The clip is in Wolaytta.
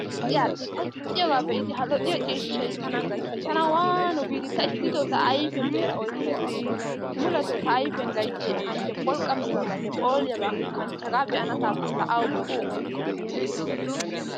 Aal"i al"i ta ixxiyogaa be'idi tanan gayttees. Tana waanu giiri, ta issito ta ayfiyan be'ada oykka erikkeshin. Muletoo ta ayfiyan gayttiyay A kanchche. Pholqqammiyabanne phooliyaba kanchche. Hagaa be'anasaappe laa awu boo ta.